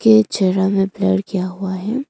ये छेरा में प्यार किया हुआ है।